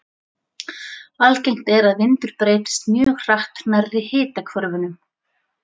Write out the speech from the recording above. Algengt er að vindur breytist mjög hratt nærri hitahvörfunum.